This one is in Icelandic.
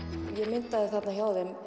ég myndaði þarna hjá þeim